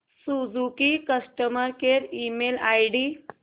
Suzuki customer care email ID